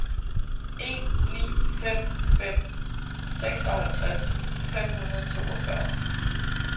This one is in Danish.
en ni fem fem seksoghalvtreds fem hundrede og toogfyrre